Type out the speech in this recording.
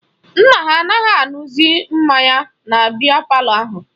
Nna ha anaghị aṅụzi mmanya na biya palọ ahụ